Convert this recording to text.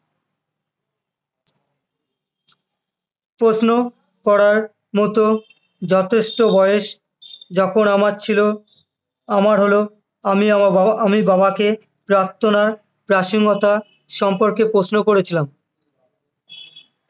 প্রশ্ন করার মতো যথেষ্ট বয়স যখন আমার ছিল আমার হল আমি বাবাকে প্রার্থনার প্রাসঙ্গিকতা সম্পর্কে প্রশ্ন করেছিলাম